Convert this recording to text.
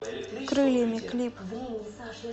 крыльями клип